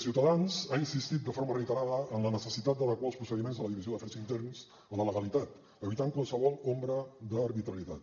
ciutadans ha insistit de forma reiterada en la necessitat d’adequar els procediments de la divisió d’afers interns a la legalitat i evitar qualsevol ombra d’arbitrarietat